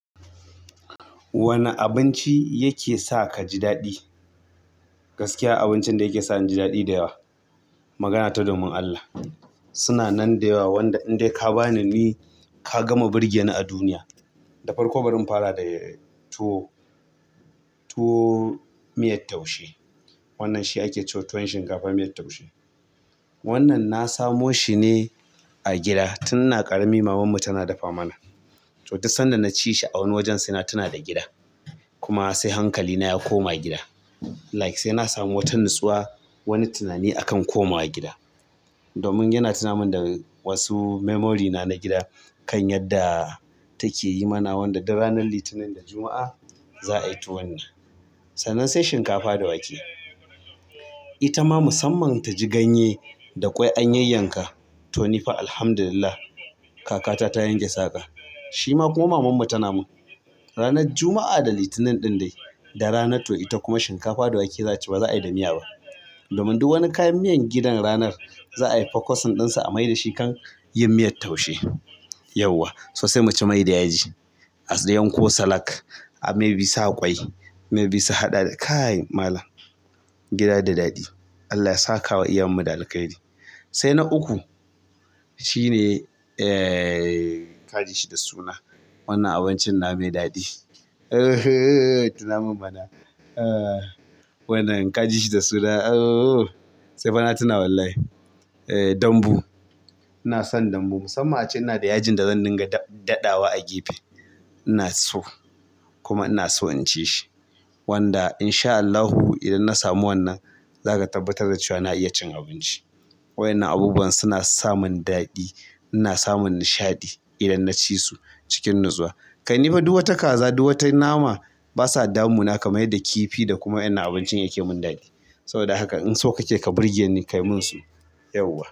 Wane. Abinci yake sa kaji daɗi. Gaskiya abincin da yake sa inji daɗi da yawa. Magana ta domin Allah. Suna nan da yawa wanda in dai ka bani ni ka gama burge ni a duniya. Da farko bari in fara da tuwo, tuwo miyar taushe. Wannan shi ake ce wa tuwon shinkafa miyar taushe. Wannan na samo shi ne a gida tun ina ƙarami mamanmu tana dafa mana. To duk sanda na ci shi a wani wajen sai na tuna da gida. Kuma sai hankalina ya koma gida. Like sai na samu wata natsuwa, wani tunani akan komawa gida. Domin yana tuna min da wasu memory na gida kan yadda take yi mana wanda duk ranar Litinin da Juma'a za a yi tuwon nan. Sannan sai shinkafa da wake. Itama musamman taji ganye da ƙwai an yanyan ka toni fa alhamdulillah kaka ta yanke saƙa. Shima kuma mamanmu tana mun. Ranar juma'a da Litinin ɗin dai da rana to ita kuma shinkafa da wake za'a ci ba za'a yi da miya ba domin duk wani kayan miyan gidan ranar za a yi fokosin ɗin sa a mai da shi kan yin miyar taushe. Yauwa. So sai muci mai da yaji, a yan ko salak, a mai bi sa ƙwai, mai bi su haɗa da. Kai malam gida da daɗi. Allah ya saka wa iyayen mu alkhairi. Sai na uku shine ee ka ji shi da suna. Wannan abincin nawa mai daɗi. Tuna mun mana. Wannan ka ji shi da suna. Sai fana tuna wallahi. Eeh danbu. ina son dambu. Musamman a ce ina da yajin da zan dinga daɗawa a gefe. Ina so kuma ina so in ci shi. Wanda insha Allahu idan na samu wannan za ka tabbatar da cewa na iya cin abinci. Wa'yannan abubuwan suna samun daɗi ina samun nishaɗi idan na ci su cikin natsuwa. Kai ni fa duk wata kaza duk wata nama basa damuna kamar yadda kifi da kuma wa'yannan abincin yake mun daɗi. Saboda haka in so kake ka birge ni kayi mun su. Yauwa.